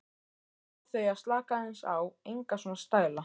Bað þau að slaka aðeins á, enga svona stæla!